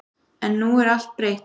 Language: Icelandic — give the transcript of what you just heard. En nú er allt breytt.